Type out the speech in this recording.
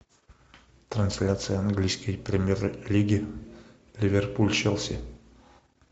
трансляция английской премьер лиги ливерпуль челси